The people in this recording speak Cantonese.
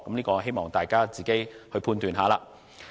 我希望大家自行判斷。